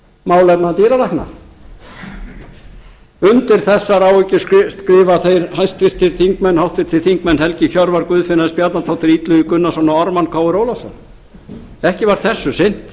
málefna dýralækna undir þessar áhyggjur skrifa þeir háttvirtir þingmenn helgi hjörvar guðfinna s bjarnadóttir illugi gunnarsson og ármann krónu ólafsson ekki var þessu